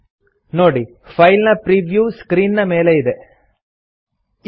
चलिए default setting पर click करें और फिर ಪ್ರಿಂಟ್ ಪ್ರಿವ್ಯೂ बटन पर क्लिक करें ನೋಡಿ ಫೈಲ್ ನ ಪ್ರೀವ್ಯೂ ಸ್ಕ್ರೀನ್ ಮೇಲೆ ಇದೆ